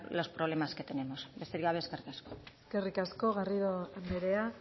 los problemas que tenemos besterik gabe eskerrik asko eskerrik asko garrido andrea